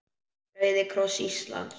Rauði kross Íslands